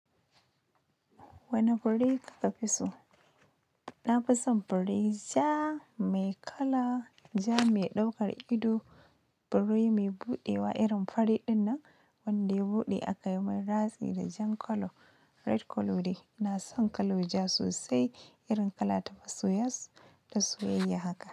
Wane buredi kafi so? Na fi son fure ja, mai kala ja, mai ɗaukar ido, fure mai buɗewa irin fari dinnan wanda ya buɗe aka yi mai ratsi da jan colour red colour de. Ina san colour ja sosai irin kala ta masoya ta soyayya haka.